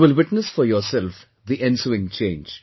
You will witness for yourself the ensuing change